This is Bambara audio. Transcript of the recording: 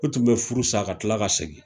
O tun bɛ furu sa ka kila ka segin